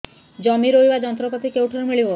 ଜମି ରୋଇବା ଯନ୍ତ୍ରପାତି କେଉଁଠାରୁ ମିଳିବ